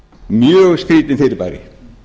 mjög skrýtið fyrirbæri